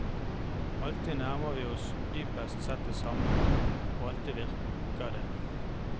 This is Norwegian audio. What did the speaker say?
Alltid nærmer vi oss dypest sett det samme, og alltid virker det.